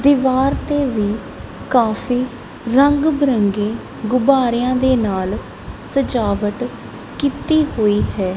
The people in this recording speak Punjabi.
ਦੀਵਾਰ ਤੇ ਵੀ ਕਾਫੀ ਰੰਗ ਬਿਰੰਗੇ ਗੁਬਾਰਿਆਂ ਦੇ ਨਾਲ ਸਜਾਵਟ ਕੀਤੀ ਹੋਈ ਹੈ।